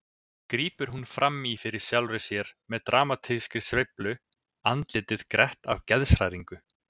grípur hún fram í fyrir sjálfri sér með dramatískri sveiflu, andlitið grett af geðshræringu.